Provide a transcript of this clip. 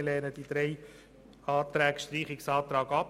Wir lehnen die drei Streichungsanträge ab.